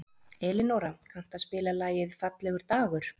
Elinóra, kanntu að spila lagið „Fallegur dagur“?